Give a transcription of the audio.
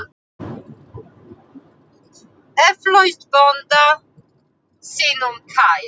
Eflaust bónda sínum kær.